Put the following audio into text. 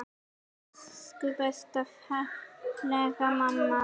Elsku besta, fallega mamma.